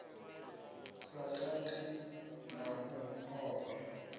sa tati na u ofha